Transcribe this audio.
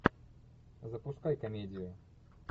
запускай комедию